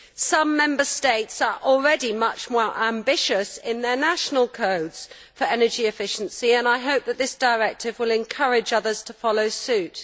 Some Member States are already much more ambitious in their national codes for energy efficiency, and I hope that this directive will encourage others to follow suit.